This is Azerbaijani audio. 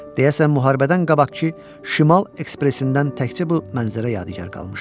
Deyəsən müharibədən qabaqkı şimal ekspresindən təkcə bu mənzərə yadigar qalmışdı.